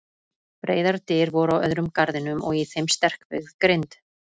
Breiðar dyr voru á öðrum garðinum og í þeim sterkbyggð grind.